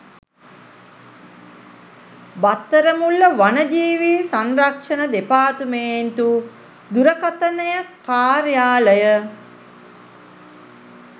බත්තරමුල්ල වනජීවි සංරක්ෂණ දෙපාර්තමේන්තු දුරකථනය කාර්යාලය